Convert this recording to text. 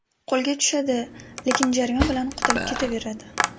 Qo‘lga tushadi, lekin jarima bilan qutulib ketaveradi.